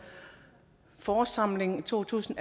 forårssamlingen to tusind